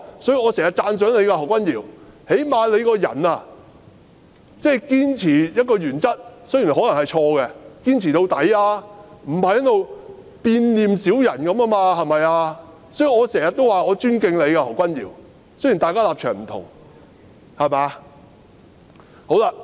所以，我經常讚賞何君堯議員，最少他堅持原則——雖然可能是錯的——他仍然會堅持到底，而不是在這裏好像變臉小人一樣，對嗎？